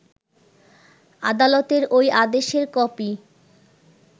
আদালতের ওই আদেশের কপি